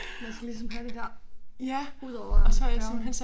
Det også ligesom handicap udover det er